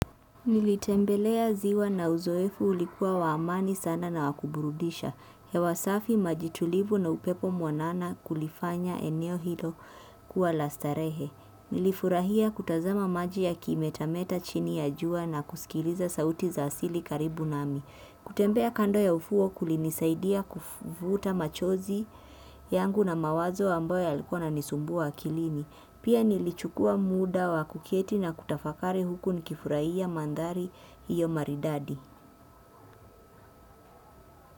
Nilitembelea ziwa na uzoefu ulikuwa wa amani sana na wa kuburudisha hewa safi maji tulivu na upepo mwanana kulifanya eneo hilo kuwa la starehe. Nilifurahia kutazama maji yakimetameta chini ya jua na kusikiliza sauti za asili karibu nami. Kutembea kando ya ufuo kulinisaidia kuvuta machozi yangu na mawazo ambayo yalikuwa yananisumbua akilini. Pia nilichukua muda wa kuketi na kutafakari huku nikifurahia mandhari hiyo maridadi.